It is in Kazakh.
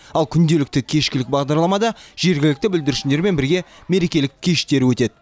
ал күнделікті кешкілік бағдарламада жергілікті бүлдіршіндермен бірге мерекелік кештер өтеді